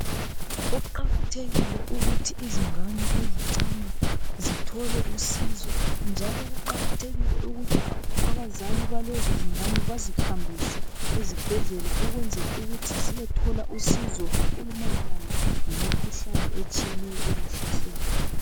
Kuqakathekile ukuthi izingane ezincane zithole usizo njalo kuqakathekile ukuthi abazali bahlezi zingane bazihambise ezibhedlela ziyethola usizo okumayelana lemikhuhlane etshiyeneyo ebahlaselayo.